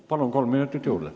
Palun, kolm minutit juurde!